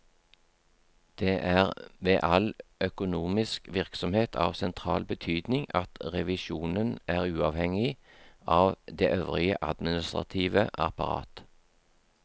Det er ved all økonomisk virksomhet av sentral betydning at revisjonen er uavhengig av det øvrige administrative apparat.